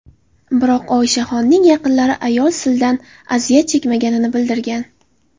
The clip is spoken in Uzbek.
Biroq Oishaxonning yaqinlari ayol sildan aziyat chekmaganini bildirgan.